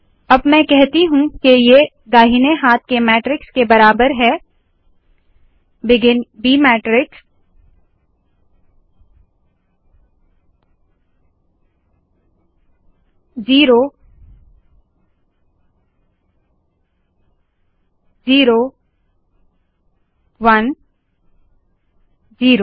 अब मैं कहती हूँ की ये दाहिने हाथ के मैट्रिक्स के बराबर है begin b matrix zero zero one zero